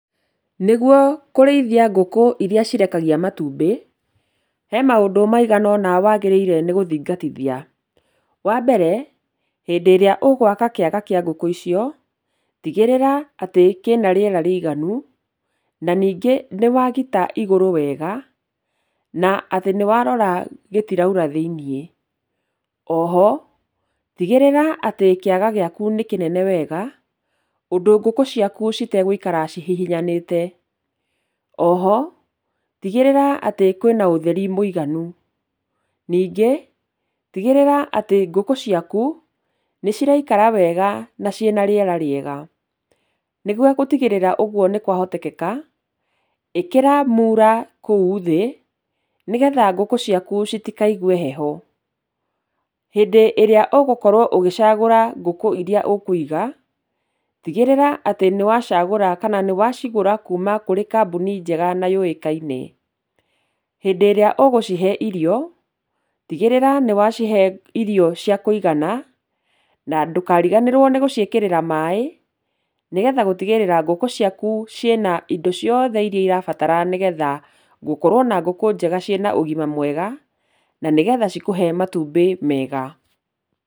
Nĩguo kũrĩithia ngũkũ iria cirekagia matumbĩ, he maũndũ maigana ũna wagĩrĩire nĩ gũthingatithia. Wa mbere, hĩndĩ ĩrĩa ũgwaka kĩaga kĩa ngũkũ icio, tigĩrĩra kĩ na rĩera rĩiganu, na ningĩ nĩ wagita igũrũ wega na atĩ nĩ warora gĩtiraura thĩiniĩ. Oho, tigĩrĩra atĩ kĩaga gĩaku nĩ kĩnene wega, ũndũ ngũkũ ciaku citegũikara cihihinyanĩte. Oho, tigĩrĩra atĩ kwĩna ũtheri mũiganu. Ningĩ, tigĩrĩra atĩ ngũkũ ciaku nĩciraikara wega na ciĩna rĩera rĩega. Nĩgũo gũtigĩrĩra atĩ ũguo nĩ kwahotekeka, ĩkĩra muura kũu thĩ, nĩgetha ngũkũ ciaku citikaigue heho. Hĩndĩ ĩrĩa ũgũkorwo ũgĩcagũra ngũkũ iria ũkũiga, tigĩrĩra atĩ nĩ wacagũra kana nĩwacigũra kuuma kũrĩ kambuni njega na yũikaine. Hĩndĩ ĩrĩa ũgũcihe irio, tigĩrĩra nĩwacihe irio cia kũigana, na ndũkariganĩrwo nĩ gũciĩkĩrĩra maaĩ, nĩgetha gũtigĩrĩra ngũkũ ciaku ciĩna indo ciothe irĩa irabatara, nĩgetha gukorwo na ngũkũ njega ciĩna ũgima mwega, na nĩgetha cikũhe matumbĩ mega.